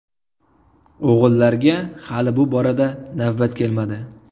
O‘g‘illarga hali bu borada navbat kelmadi.